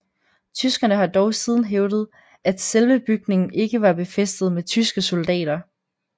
Tyskerne har dog siden hævdet at selve bygningen ikke var befæstet med tyske soldater